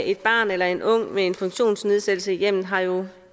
et barn eller en ung med en funktionsnedsættelse i hjemmet har jo